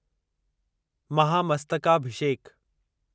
महामस्तकाभिषेक